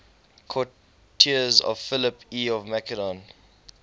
courtiers of philip ii of macedon